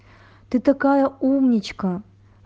ты такая умничка